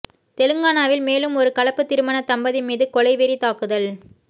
தெலங்கானாவில் மேலும் ஒரு கலப்புத் திருமண தம்பதி மீது கொலைவெறி தாக்குதல்